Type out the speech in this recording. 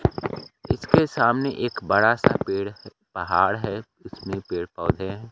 इसके सामने एक बड़ा सा पेड़ पहाड़ है उसमें पेड़ पौधे है।